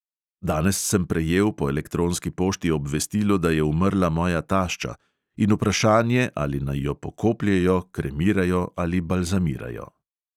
Danes sem prejel po elektronski pošti obvestilo, da je umrla moja tašča, in vprašanje, ali naj jo pokopljejo, kremirajo ali balzamirajo.